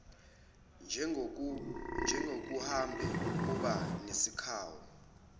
njengokuhambe uba nesikhawu